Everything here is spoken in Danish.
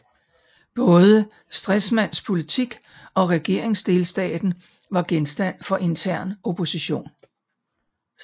Både Stresemanns politik og regeringsdeltagelsen var genstand for intern opposition